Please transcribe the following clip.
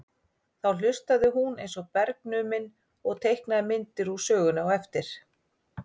Þá hlustaði hún eins og bergnumin og teiknaði myndir úr sögunni á eftir.